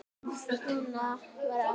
Svona var afi.